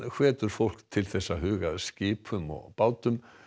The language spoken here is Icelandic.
hvetur fólk til að huga að skipum og bátum